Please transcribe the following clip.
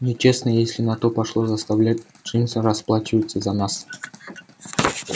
нечестно если на то пошло заставлять джимса расплачиваться за нас